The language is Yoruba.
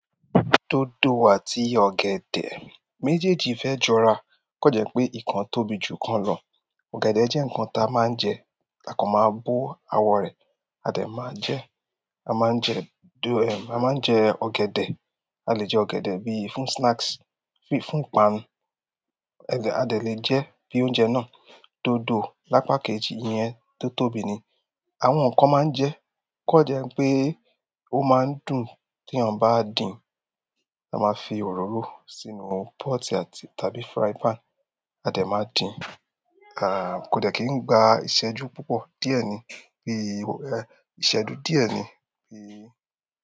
Dodo àti ọ̀gẹ̀dẹ̀ méjèèjì fẹ́ jọra, o kan jẹ́ pé ikan tóbi jù ikan lọ. Ọ̀gẹ̀dẹ̀ jẹ́ ǹkan tá a máa ń jẹ, takan máa bó àwọ̀ rẹ̀, a de máa ń jẹ ẹ. A máa ń jẹ dodo, a máa ń jẹ ọ̀gẹ̀dẹ̀. A lè jẹ ọ̀gẹ̀dẹ̀ bíi fún snacks, fún ìpanu. A de lè jẹ bí i oúnjẹ náà. Dodo lápá kejì, ìyẹn tó tóbi ni àwọn kan máa ń jẹ o kan jẹ́ pé ó máa ń dùn tí eeyan bá dín. A máa fi òróró sínú pọ́ọ̀tì àti tàbí frying pan, a de máa dín. Kò dẹ́ kí n gba ìṣẹ́jú púpọ̀ díẹ̀ ni, bí i ìṣẹ́jú díẹ̀ ni bí i.